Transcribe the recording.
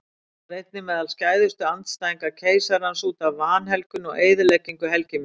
Hann var einnig meðal skæðustu andstæðinga keisarans útaf vanhelgun og eyðileggingu helgimynda.